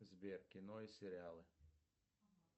сбер кино и сериалы